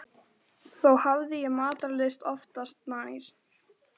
Þó hafði ég matarlyst oftast nær.